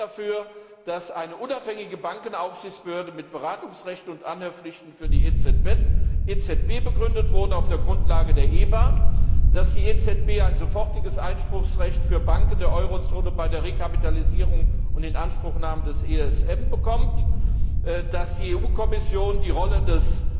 Ich sehe es so, dass eine unabhängige Bankenaufsichtsbehörde mit Beratungsrechten und Anhörpflichten für die EZB begründet wurde auf der Grundlage der EBA, dass die EZB ein sofortiges Einspruchsrecht für Banken der Eurozone bei der Rekapitalisierung und Inanspruchnahme des ESM bekommt, dass die EU Kommission die Rolle des